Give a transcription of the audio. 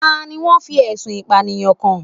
Ta ni wọ́n fi ẹ̀sùn Ìpànìyàn kàn?